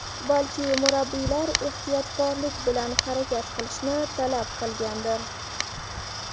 Balki murabbiylar ehtiyotkorlik bilan harakat qilishni talab qilgandir.